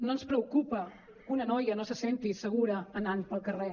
no ens preocupa que una noia no se senti segura anant pel carrer